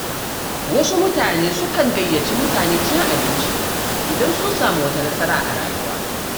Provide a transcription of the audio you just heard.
Wasu mutane sukan gayyaci mutane cin abinci idan sun samu wata nasara a rayuwa.